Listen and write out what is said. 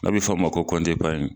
A be fɔ a ma ko kɔnti epariɲi